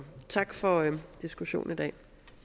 tak for diskussionen i dag